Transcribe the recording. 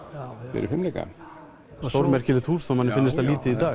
fyrir fimleika stórmerkilegt hús þó manni finnist það lítið í dag